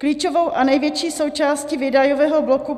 Klíčovou a největší součásti výdajového bloku